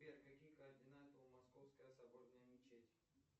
сбер какие координаты у московская соборная мечеть